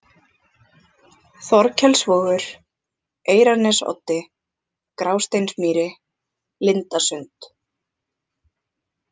Þorkelsvogur, Eyrarnesoddi, Grásteinsmýri, Lindasund